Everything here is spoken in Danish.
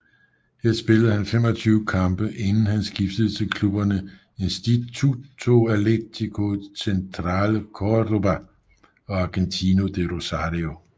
Her spillede han 25 kampe inden han skiftede til klubberne Instituto Atlético Central Córdoba og Argentino de Rosario